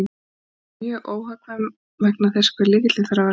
Hún er hins vegar mjög óhagkvæm vegna þess hve lykillinn þarf að vera langur.